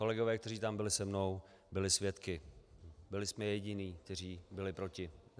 Kolegové, kteří tam byli se mnou, byli svědky, byli jsme jediní, kteří byli proti.